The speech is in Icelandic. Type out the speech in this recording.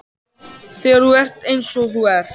Þegar þú ert eins og þú ert.